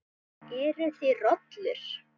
Eruð þið rollur?